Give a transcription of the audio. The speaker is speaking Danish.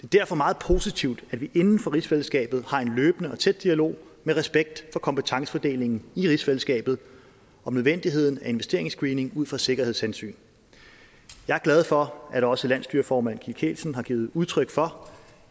derfor meget positivt at vi inden for rigsfællesskabet har en løbende og tæt dialog med respekt for kompetencefordelingen i rigsfællesskabet om nødvendigheden af investeringsscreening ud fra sikkerhedshensyn jeg er glad for at også landsstyreformand kim kielsen har givet udtryk for